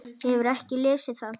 Hefurðu ekki lesið það!